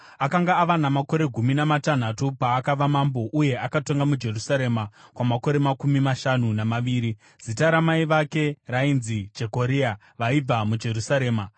Akanga ava namakore gumi namatanhatu paakava mambo, uye akatonga muJerusarema kwamakore makumi mashanu namaviri. Zita ramai vake rainzi Jekoria; vaibva muJerusarema.